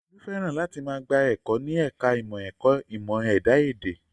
Olú fẹ́ràn láti máa gba ẹ̀kọ́ ní ẹ̀ka ìmọ̀ ẹ̀kọ́ ìmọ̀ ẹ̀dá èdè